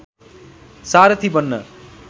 सारथी बन्न